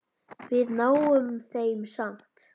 Við náum þeim samt!